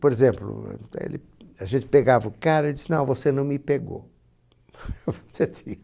Por exemplo, é ele... a gente pegava o cara e dizia, não, você não me pegou.